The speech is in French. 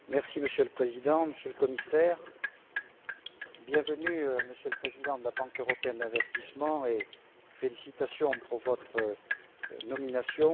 Monsieur le Président, Monsieur le Commissaire, bienvenue Monsieur le Président de la Banque européenne d'investissement et félicitations pour votre nomination.